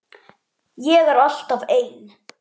Ég er alltaf ein.